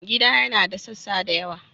Gida yana da sassa da yawa.